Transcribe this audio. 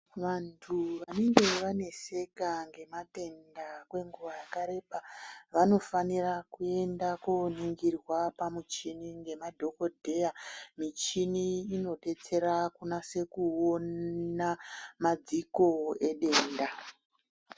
Vantu vanenge vaneseka ngematenda kwenguva yakareba vanofanira kuenda kunoningirwa kumuchini ngemadhokodheya michini inodetsera kunase ona madziko edenda.